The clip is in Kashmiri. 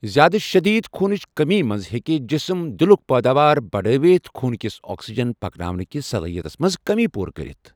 زِیٛادٕ شٔدیٖد خوٗنچ کٔمی منٛز ہیٚکہ جسم دلک پٲداوار بڈٲوِتھ خوٗنہٕ كِس آکسیجن پَکناونہٕ كِس صلٲحیتس منٛز کٔمی پوٗرٕ کٔرِتھ ۔